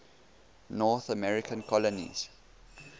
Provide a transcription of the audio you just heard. north american colonies